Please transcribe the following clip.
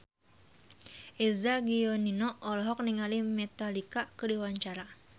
Eza Gionino olohok ningali Metallica keur diwawancara